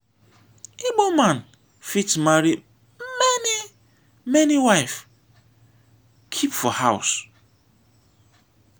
igbo man fit marry many many wive keep for house.